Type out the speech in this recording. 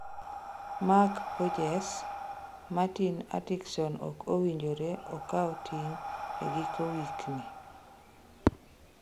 Mark Hughes: Martin Atkinson ok owinjore okao ting' e giko wik ni